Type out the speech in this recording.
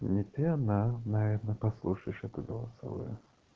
не ты одна наверно послушаешь это голосовое